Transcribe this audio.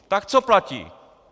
Tak co platí?